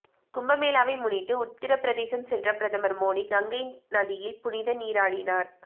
கும்பமேளாவை முன்னிட்டு உத்திரபிரதேசம் சென்ற பிரதமர் மோடி கங்கை நதியில் புனித நீராடினார்